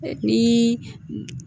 Ni